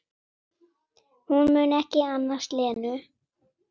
Hún mun ekki annast Lenu.